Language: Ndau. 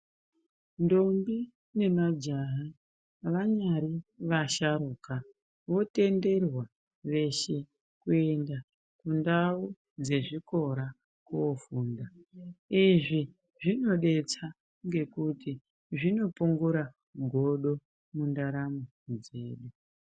Ndombi nemajaha vanyari vasharukwa votenderwa veshe kuenda kundau dzezvikora kofunda izvi zvinodetsa ngekuti zvinopungura godo mundaramo dzedu.